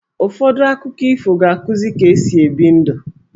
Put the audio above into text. Ụfọdụ akụkọ ifo ga-akuzi ka-esi ebi ndụ.